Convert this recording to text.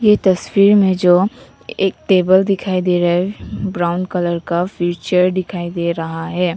ये तस्वीर में जो एक टेबल दिखाई दे रहा ब्राउन कलर का फिर चेयर दिखाई दे रहा है।